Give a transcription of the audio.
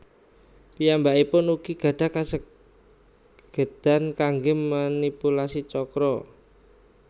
Piyambakipun ugi gadah kasagedan kangge manipulasi chakra